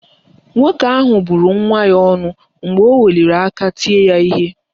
Nwoke ahụ bụrụ nwa ya ọnụ mgbe o weliri aka tie ya ihe